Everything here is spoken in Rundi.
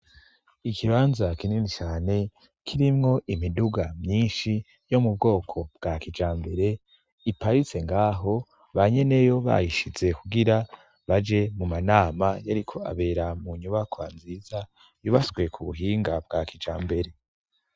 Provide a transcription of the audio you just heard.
Ikibanza kinini cane, kirimwo imiduga myinshi yo mu bwoko bwa kijambere iparitse ngaho banyeneyo bayishize kugira baje mu manama yariko abera mu nyubaka nziza yubaswe ku buhinga bwa kijambere.